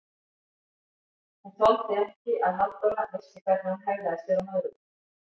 Hún þoldi ekki að Halldóra vissi hvernig hún hegðaði sér á Möðruvöllum!